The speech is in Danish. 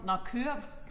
Nåh køreboks